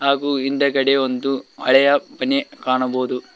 ಹಾಗು ಹಿಂದೆಗಡೆ ಒಂದು ಹಳೆಯ ಮನೆ ಕಾಣಬಹುದು.